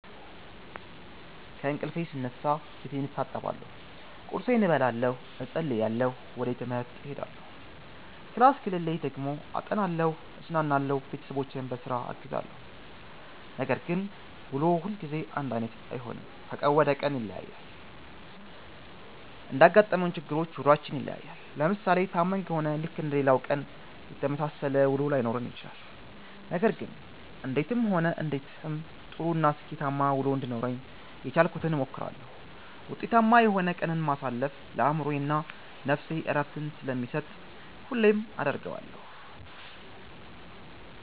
ከእንቅልፌ ስነሳ ፌቴን እታጠባለሁ ቁርሴን እበላለሁ እፀልያለሁ ወጀ ትምሀርቴ እሄዳለሁ ክላስ ከሌለኝ ደግሞ አጠናለሁ እዝናናለሁ ቤተሠቦቼን ቧስራ አግዛለሁ። ነገር ግን ውሎ ሁልጊዜ አንዳይነት አይሆንም ከቀን ወደ ቀን ይለያያል። እንዳጋጠመን ችግሮች ውሏችን ይለያያል። ለምሣሌ ታመን ከሆነ ልክ እንደሌላው ቀን የተመሣሠለ ውሎ ላይኖረን ይችላል። ነገር ግን እንዴትም ሆነ እንዴትም ጥሩ እና ስኬታማ ውሎ እንዲኖረኝ የቻልኩትን እሞክራለሁ። ውጤታማ የሆነ ቀንን ማሣለፍ ለአእምሮዬ እና ነፍሴ ዕረፍትን ስለሚሠጥ ሁሌም አደርገዋለሁ።